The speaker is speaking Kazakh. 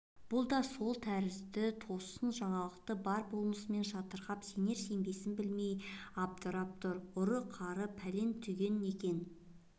бұл да сол тәрізді тосын жаңалықты бар болмысымен жатырқап сенер-сенбесін білмей абдырап тұр ұры-қары пәлен-түген екен